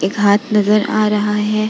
एक हाथ नजर आ रहा है।